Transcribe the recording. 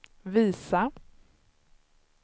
visa